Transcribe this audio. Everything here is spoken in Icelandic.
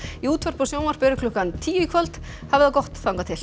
í útvarpi og sjónvarpi eru klukkan tíu í kvöld hafið það gott þangað til